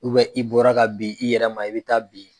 i bɔra ka bin i yɛrɛ ma i bɛ taa bin.